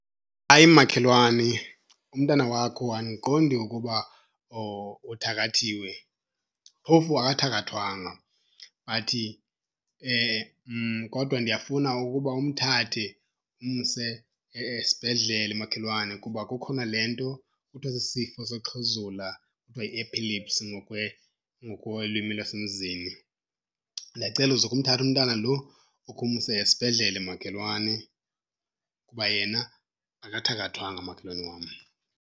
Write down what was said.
Hayi makhelwane, umntana wakho andiqondi ukuba uthakathiwe. Phofu akathakathwanga but kodwa ndiyafuna ukuba umthathe umse esibhedlele makhelwane kuba kukhona le nto kuthiwa sisifo soxhuzula, kuthiwa yi-epilepsy ngokwelwimi lasemzini. Ndiyacela uzukhe umthathe umntana lo ukhe umse esibhedlele makhelwane kuba yena akathakathwanga makhelwane wam.